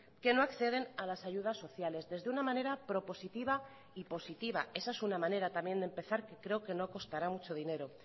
que no acceden a las ayudas sociales desde una manera propositiva y positiva esa es una manera también de empezar que creo que no costará mucho dinero